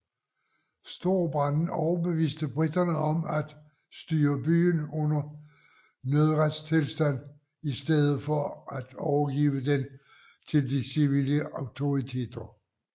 Storbranden overbeviste briterne om at styre byen under nødretstilstand i stedet for at overgive den til de civile autoriteter